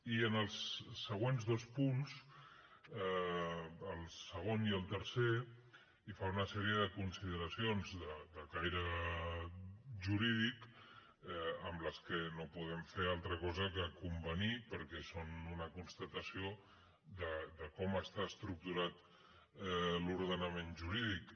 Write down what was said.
i en els següents dos punts el segon i el tercer hi fa una sèrie de consideracions de caire jurídic amb les que no podem fer altra cosa que convenir perquè són una constatació de com està estructurat l’ordenament jurídic